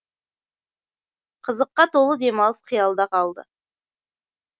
қызыққа толы демалыс қиялда қалды